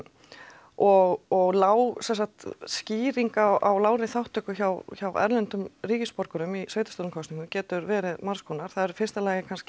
og og sem sagt skýring á lágri þátttöku hjá hjá erlendum ríkisborgurum í sveitarstjórnarkosningum getur verið margs konar það er í fyrsta lagi kannski